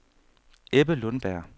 Ebbe Lundberg